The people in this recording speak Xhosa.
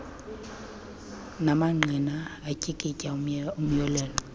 mangqina atyikitya umyolelo